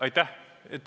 Aitäh!